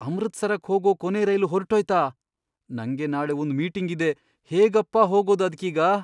ಅಮೃತ್ಸರಕ್ ಹೋಗೋ ಕೊನೇ ರೈಲು ಹೊರ್ಟೋಯ್ತಾ? ನಂಗೆ ನಾಳೆ ಒಂದ್ ಮೀಟಿಂಗ್ ಇದೆ, ಹೇಗಪ್ಪಾ ಹೋಗೋದು ಅದ್ಕೀಗ?!